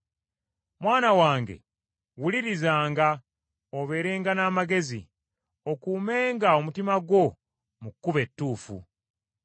Mwana wange wulirizanga, obeerenga n’amagezi, okumenga omutima gwo mu kkubo ettuufu.